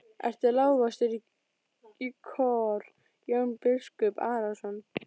Ertu lagstur í kör Jón biskup Arason?